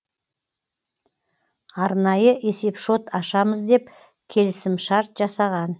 арнайы есепшот ашамыз деп келісімшарт жасаған